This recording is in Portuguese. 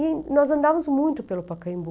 E nós andávamos muito pelo Pacaembu.